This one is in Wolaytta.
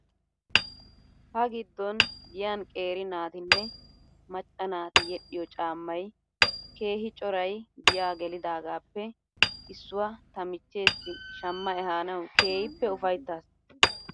Ha giddon giyan qeeri naatinne macca naati yedhdhiyoo caammay keehi coray giyaa gelidaagaappe issuwaa ta michcheessi shama ehaanaw keehippe ufayttas.